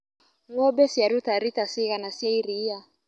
Ngombe ciaruta rita cigana cia iria.